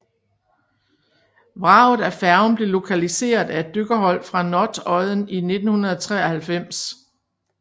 Vraget af færgen blev lokaliseret af et dykkerhold fra Notodden i 1993